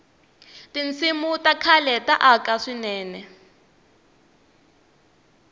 tinsimu ta khale ta aka swinene